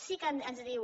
sí que ens diu